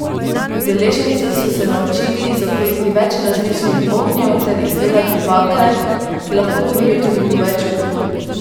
Udeleženci so se naučili zakuriti več različnih ognjev ter izdelati bakle, ki lahko gorijo tudi po več ur.